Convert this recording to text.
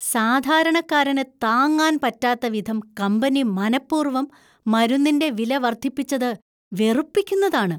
സാധാരണക്കാരന് താങ്ങാൻ പറ്റാത്ത വിധം കമ്പനി മനപ്പൂർവ്വം മരുന്നിന്‍റെ വില വർദ്ധിപ്പിച്ചത് വെറുപ്പിക്കുന്നതാണ് .